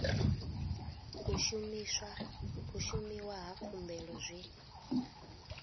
u shumiwa na khumbelo zwi